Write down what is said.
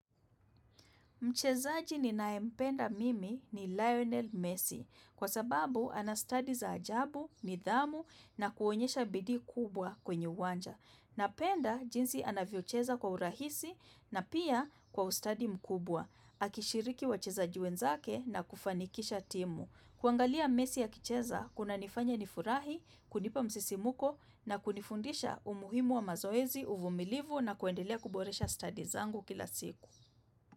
Mchezaji ninaempenda mimi ni Lionel Messi kwa sababu anastadi za ajabu, nidhamu na kuonyesha bidii kubwa kwenye uwanja. Napenda jinsi anavyocheza kwa urahisi na pia kwa ustadi mkubwa. Akishiriki wachezaje wenzake na kufanikisha timu. Kuangalia Messi akicheza kunanifanya nifurahi, kunipa msisimuko na kunifundisha umuhimu wa mazoezi uvumilivu na kuendelea kuboresha stadi zangu kila siku.